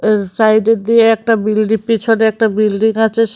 জ সাইডে দিয়ে একটা বিল্ডি পিছনে একটা বিল্ডিং আছে।